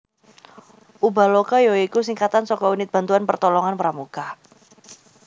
Ubaloka ya iku singkatan saka Unit Bantuan Pertolongan Pramuka